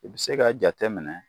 I bɛ se k'a jate minɛ.